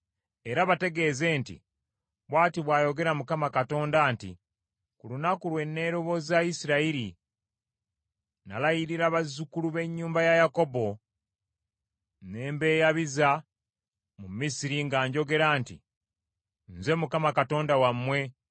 era bategeeze nti, ‘Bw’ati bw’ayogera Mukama Katonda nti: ku lunaku lwe, neroboza Isirayiri, nalayirira bazzukulu b’ennyumba ya Yakobo, ne mbeeyabiza mu Misiri nga njogera nti, “Nze Mukama Katonda wammwe.”